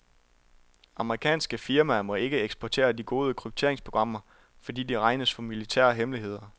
Amerikanske firmaer må ikke eksportere de gode krypteringsprogrammer, fordi de regnes for militære hemmeligheder.